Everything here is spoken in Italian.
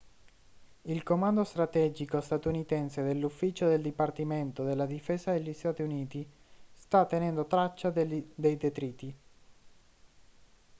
il comando strategico statunitense dell'ufficio del dipartimento della difesa degli stati uniti sta tenendo traccia dei detriti